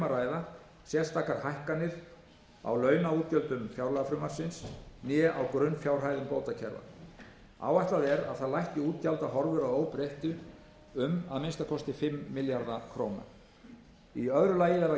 ræða sérstakar hækkanir á launaútgjöldum fjárlagafrumvarpsins né á grunnfjárhæðum bótakerfa áætlað er að það lækki útgjaldahorfur að óbreyttu um að minnsta kosti fimm milljarða króna í öðru lagi verða